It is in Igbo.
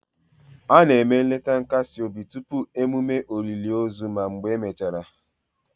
A na-eme nleta nkasi obi tupu emume olili ozu na mgbe emechara